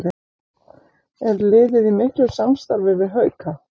Er liðið í miklu samstarfi við Hauka?